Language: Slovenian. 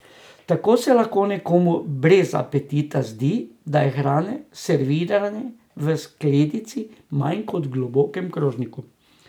Tako se lahko nekomu brez apetita zdi, da je hrane, servirane v skledici, manj kot v globokem krožniku.